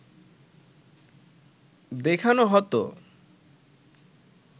দেখানো হতো